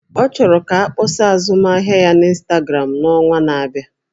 Ọ chọrọ ka akpọsa azụmahịa ya na ịnstagramụ n'ọnwa na-abịa